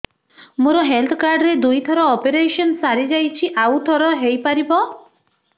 ମୋର health card ରେ ଦୁଇ ଥର ଅପେରସନ ସାରି ଯାଇଛି ଆଉ ଥର ହେଇପାରିବ